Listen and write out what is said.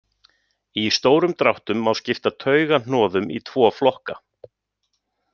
Í stórum dráttum má skipta taugahnoðum í tvo flokka.